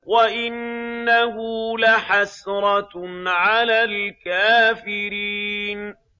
وَإِنَّهُ لَحَسْرَةٌ عَلَى الْكَافِرِينَ